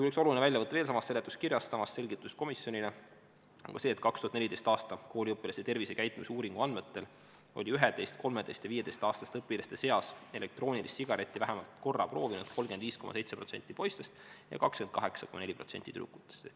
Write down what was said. " Üks oluline väljavõte veel samast seletuskirjast ja samast selgitusest komisjonile on ka see, et 2014. aasta kooliõpilaste tervisekäitumise uuringu andmetel oli 11-, 13- ja 15-aastaste õpilaste seas elektroonilist sigaretti vähemalt korra proovinud 35,7% poistest ja 28,4% tüdrukutest.